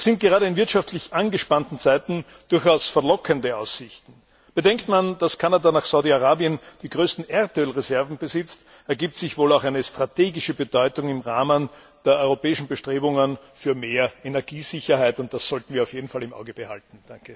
Das sind gerade in wirtschaftlich angespannten Zeiten durchaus verlockende Aussichten. Bedenkt man, dass Kanada nach Saudi Arabien die größten Erdölreserven besitzt, ergibt sich wohl auch eine strategische Bedeutung im Rahmen der europäischen Bestrebungen für mehr Energiesicherheit, und das sollten wir auf jeden Fall im Auge behalten.